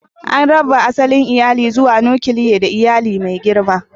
An raba asalin iyali zuwa: nukiliya da iyali mai girma.